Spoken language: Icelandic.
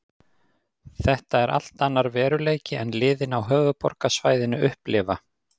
Þetta er allt annar veruleiki en liðin á höfuðborgarsvæðinu upplifa.